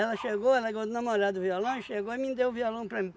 chegou, ela ganhou do namorado o violão e chegou e mim deu o violão para mim.